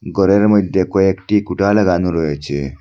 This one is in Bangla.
গরের মইদ্যে কয়েকটি কুটা লাগানো রয়েছে।